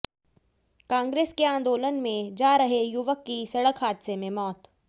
कांग्रेस के आंदोलन में जा रहे युवक की सड़क हादसे में मौत